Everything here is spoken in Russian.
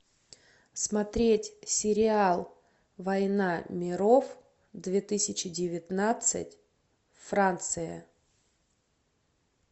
смотреть сериал война миров две тысячи девятнадцать франция